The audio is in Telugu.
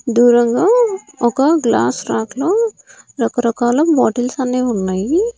దూరంగా ఒక గ్లాస్ ర్యాక్ లో రకరకాల బాటిల్స్ అన్నీ ఉన్నాయి.